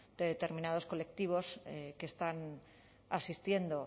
de determinados colectivos que están asistiendo